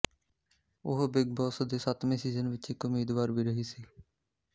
ਉਹ Bigg Boss ਦੇ ਸੱਤਵੇਂ ਸੀਜ਼ਨ ਵਿੱਚ ਇਕ ਉਮੀਦਵਾਰ ਵੀ ਰਹੀ ਸੀ